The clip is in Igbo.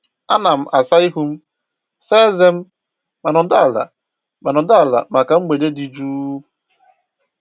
Ana m asa ihu m, saa ezé m, ma nọdụ ala ma nọdụ ala maka mgbede dị jụụ.